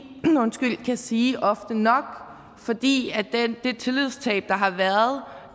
kan sige ofte nok fordi det tillidstab der har været